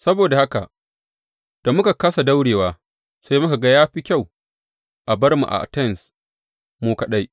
Saboda haka da muka kāsa daurewa, sai muka ga ya fi kyau a bar mu a Atens mu kaɗai.